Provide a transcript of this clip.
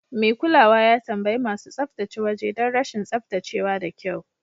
Mai kulawa ya tambayi masu tsaftace waje don rashin tsaftace wa da kyau.